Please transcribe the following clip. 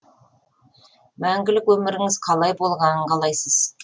мәңгілік өміріңіз қалай болғанын қалайсыз